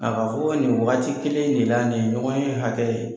Nka k'a fɔ nin waati kelen de la nin ɲɔgɔnye hakɛ.